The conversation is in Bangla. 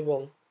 এবং